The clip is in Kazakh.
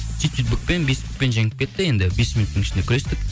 сөйтіп сөйтіп букпен беспен жеңіп кетті енді бес минуттың ішінде күрестік